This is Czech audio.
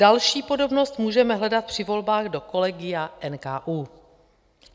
Další podobnost můžeme hledat při volbách do kolegia NKÚ.